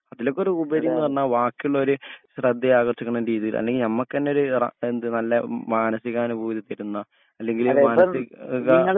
അതിലൊക്കൊരു ഉപരിപറഞ്ഞ വാക്കിള്ളോര് ശ്രേദ്ധ ആകർഷിക്കണ രീതീൽ അല്ലെങ്കി ഞമ്മക്കഞ്ഞേ ഒരു റ എന്ത് നല്ല മാനസീക അനുപൂതി തെരുന്ന അല്ലെങ്കി